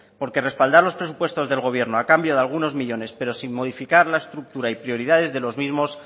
porque respaldar los presupuestos del gobierno a cambio de algunos millónes pero sin modificar la estructura y prioridades de los mismos